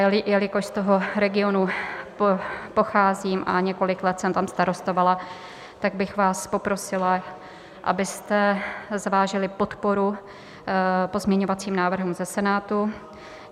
Jelikož z toho regionu pocházím a několik let jsem tam starostovala, tak bych vás poprosila, abyste zvážili podporu pozměňovacím návrhům ze Senátu.